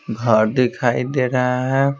घर दिखाई दे रहा है।